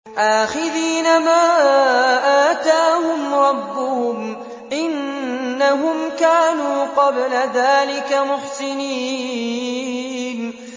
آخِذِينَ مَا آتَاهُمْ رَبُّهُمْ ۚ إِنَّهُمْ كَانُوا قَبْلَ ذَٰلِكَ مُحْسِنِينَ